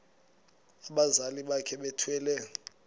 abazali bakhe bethwele